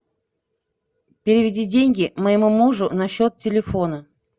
переведи деньги моему мужу на счет телефона